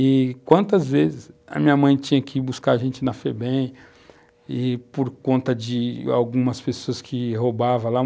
E quantas vezes a minha mãe tinha que ir buscar a gente na Febem, e por conta de algumas pessoas que roubavam lá